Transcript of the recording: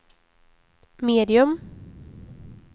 medium